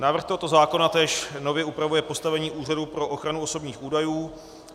Návrh tohoto zákona též nově upravuje postavení Úřadu pro ochranu osobních údajů.